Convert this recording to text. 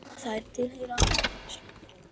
Þær tilheyra ættkvíslinni